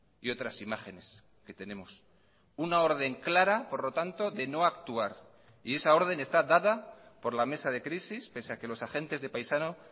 y otras imágenes que tenemos una orden clara por lo tanto de no actuar y esa orden está dada por la mesa de crisis pese a que los agentes de paisano